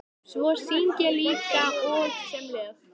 Svo syng ég líka og sem lög.